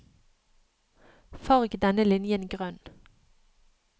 Farg denne linjen grønn